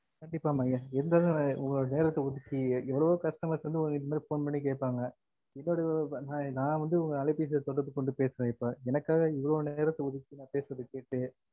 கண்டிப்பா மா இவ்ளோ உங்க நேரத்த ஒதிக்கி எவ்ளோவோ customer ஸ் இனிமேல் phone பண்ணி கேப்பாங் ந வந்துஅலைபேசில தொடர்பு கொண்டு இப்ப எனக்காக இவளவு நேரத்த ஒதுக்கி ந பேசுறத கேட்டு